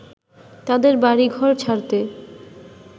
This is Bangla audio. তাদের বাড়িঘর ছাড়তে